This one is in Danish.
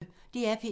DR P1